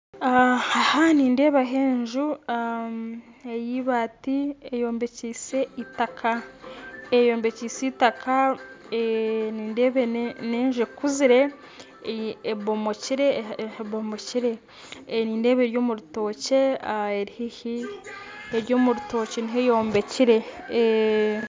Aha nindeebaho enju ey'eibaati eyombekyeise eitaka eyombekyeise eitaka nindeeba n'enju ekuzire ebomokire ebomokire nindeeba eri omu rutookye eri haihi eri omu rutookye niho eyombekire